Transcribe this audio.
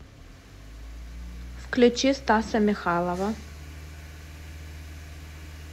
включи стаса михайлова